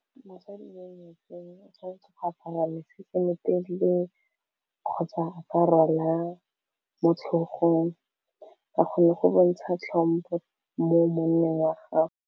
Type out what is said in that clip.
Mosadi yo nyetsweng o tshwanetse go apara mesese o motelele kgotsa a rwala mo tlhogong ka gonne go bontsha tlhompo mo monneng wa gago.